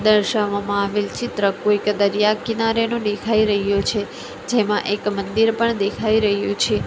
દર્શાવામાં આવેલ ચિત્ર કોઇક દરિયા કિનારેનુ દેખાય રહ્યું છે જેમાં એક મંદિર પણ દેખાય રહ્યું છે.